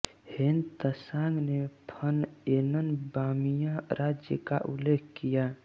ह्वेन Tsang ने फ़नयेनन बामियाँ राज्य का उल्लेख किया है